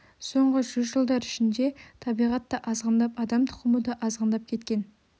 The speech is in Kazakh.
соңғы жүз жылдар ішінде табиғат та азғындап адам тұқымы да азғындап кеткен